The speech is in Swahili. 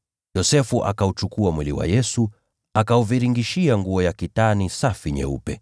Yosefu akauchukua mwili wa Yesu, akaufunga katika kitambaa cha kitani safi,